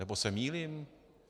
Nebo se mýlím?